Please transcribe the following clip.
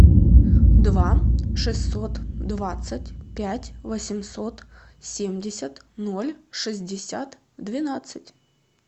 два шестьсот двадцать пять восемьсот семьдесят ноль шестьдесят двенадцать